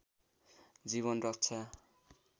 जीवन रक्षा